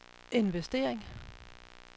investering